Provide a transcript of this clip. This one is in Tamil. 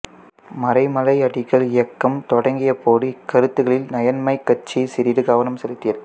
மறைமலையடிகள் இயக்கம் தொடங்கியபோது இக்கருத்துகளில் நயன்மைக் கட்சி சிறிது கவனம் செலுத்தியது